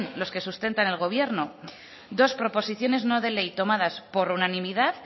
los que sustentan al gobierno dos proposiciones no de ley tomadas por unanimidad